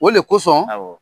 O de kosɔn